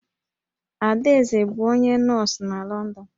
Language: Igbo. Adaeze bụ onye nọọsụ n'Lọndọn